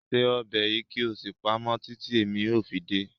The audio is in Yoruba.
Cook this soup and keep it until I come